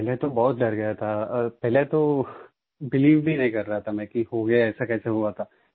पहले तो बहुत डर गया था पहले तो बिलीव भी नहीं कर रहा था मैं कि हो गया ऐसा कैसा हुआ था